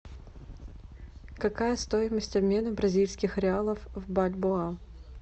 какая стоимость обмена бразильских реалов в бальбоа